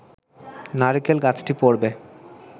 নারকেল গাছটি পড়বে